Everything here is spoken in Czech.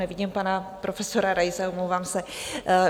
Nevidím pana profesora Raise, omlouvám se...